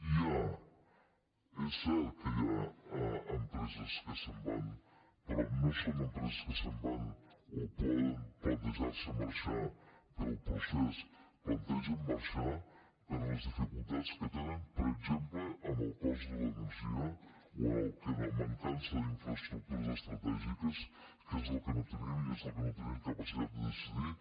hi ha és cert que hi ha empreses que se’n van però no són empreses que se’n van o poden plantejar se marxar pel procés es plantegen marxar per les dificultats que tenen per exemple amb el cost de l’energia o amb la mancança d’infraestructures estratègiques que és el que no tenim i és el que no tenim capacitat de decidir